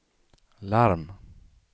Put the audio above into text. larm